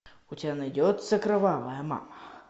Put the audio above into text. у тебя найдется кровавая мама